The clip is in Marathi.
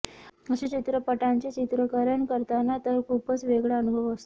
अशा चित्रपटांचे चित्रीकरण करताना तर खूपच वेगळा अनुभव असतो